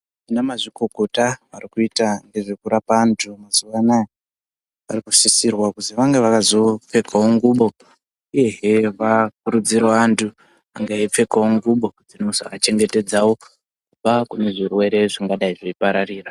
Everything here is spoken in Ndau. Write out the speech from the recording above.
Vana mazvikokota varikuita ngezve kurapa antu mazviva anaya varikusisirwa kunzi vange veizopfekavo ngubo, uyehe vakurudzire vantu kunge veipfekavo ngubo dzinozovachengetedzavo kubva kune zvirwere zvingadai zveipararira.